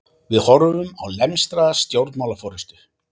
Við horfum á lemstraða stjórnmálaforystu